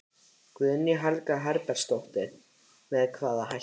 Guðný Helga Herbertsdóttir: Með hvaða hætti?